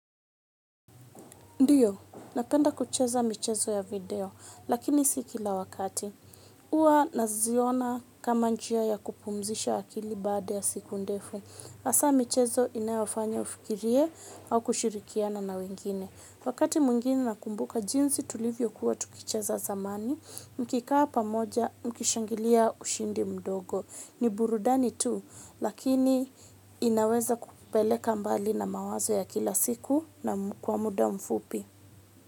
Ndio, napenda kucheza michezo ya video, lakini si kila wakati. Huwa naziona kama njia ya kupumzisha akili baada ya siku ndefu hasa michezo inayofanya ufikirie au kushirikiana na wengine. Wakati mwingine nakumbuka jinsi tulivyo kuwa tukicheza zamani, mkikaa pamoja mkishangilia ushindi mdogo. Ni burudani tu, lakini inaweza kupeleka mbali na mawazo ya kila siku na kwa muda mfupi.